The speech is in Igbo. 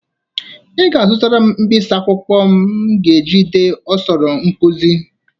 Ị ga-azụtara m mkpisi akwụkwọ m ga-eji dee osoro nkụzị